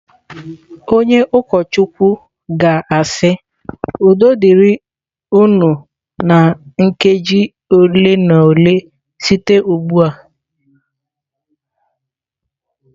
Onye ụkọchukwu ga-asị " udo dịrị unu"na nkeji ole na ole site ugbu a.